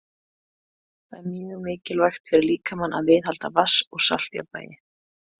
Það er mjög mikilvægt fyrir líkamann að viðhalda vatns- og saltjafnvægi.